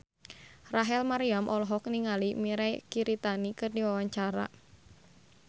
Rachel Maryam olohok ningali Mirei Kiritani keur diwawancara